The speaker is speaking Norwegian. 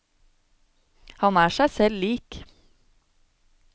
Han er seg selv lik.